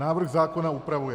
Návrh zákona upravuje: